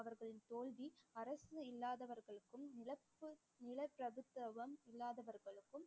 அவர்களின் தோல்வி அரசு இல்லாதவர்களுக்கும் நிலப்பு~ நிலப்பிரபுத்துவம் இல்லாதவர்களுக்கும்